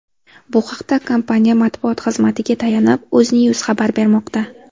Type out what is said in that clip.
Bu haqda, kompaniya matbuot xizmatiga tayanib, UzNews xabar bermoqda .